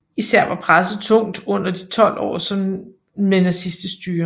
Især var presset tungt under de 12 år med nazistisk styre